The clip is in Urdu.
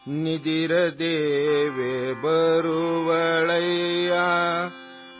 نیند کی دیوی آ جائے گی،